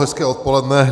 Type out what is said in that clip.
Hezké odpoledne.